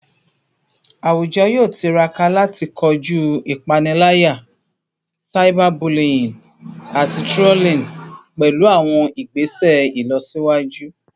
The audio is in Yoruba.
Awujọ yoo tiraka lati koju ipanilaya, cyberbullying, ati trolling pẹlu awọn igbese ilọsiwaju